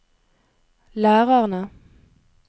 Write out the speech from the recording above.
lærerne